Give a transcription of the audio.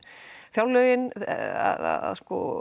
fjárlögin að